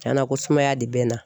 Tiɲɛna ko sumaya de bɛ n na